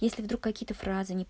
если вдруг какие-то фразы не